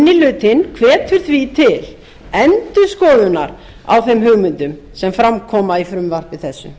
minni hlutinn hvetur því til endurskoðunar á þeim hugmyndum sem fram koma í frumvarpi þessu